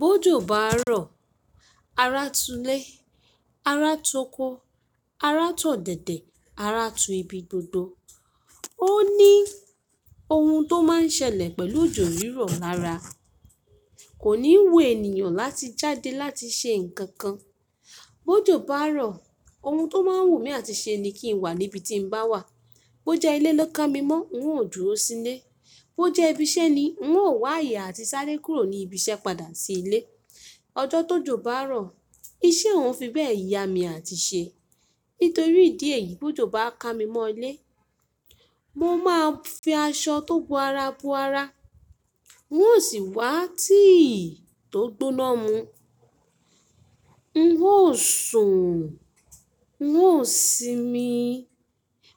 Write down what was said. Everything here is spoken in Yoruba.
Bó jó bá rọ̀, ara tú lé, ara tú ọkọ, ara tú ọ̀dẹ̀dẹ̀, ara tú ibi gbogbo. Ó ní ohun tó máa n ṣẹlẹ̀ pẹ̀lú òjò rírọ̀ lára. Kò ní wu ènìyàn láti jáde láti ṣe nǹkan kan. Bó jó bá rọ̀, ohun tó máa ń wù mí àti ṣe ni kí n wà níbi tí n bá wà. Bó jẹ́ ilé lọ ká mi mọ́, n óò dúró sílé. Bó jẹ́ ibi iṣẹ́ ni, n óò wá yà àti sáré kúrò ní ibi iṣẹ́ padà sí ilé. Ọjọ́ tó jó bá rọ̀, iṣẹ́ ò ń fi bẹ́ẹ̀ yà mí àti ṣe. Nítorí ìdí èyí, bó jó bá ká mi mọ́ ilé, mo máa fi aṣọ tó bú ara bú ara. N óò sì wá tíì tó gbóná mú. N óò sùn. N óò sinmi.